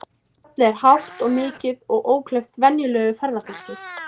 Fjallið er hátt og mikið og ókleift venjulegu ferðafólki.